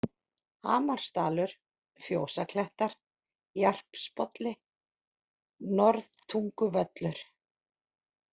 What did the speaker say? Hamarsdalur, Fjósaklettar, Jarpsbolli, Norðtunguvöllur